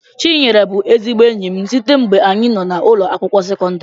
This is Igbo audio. chinyere bu ezigbo enyim sitee ngbe anyi noo na ụlọ akwụkwọ sekondri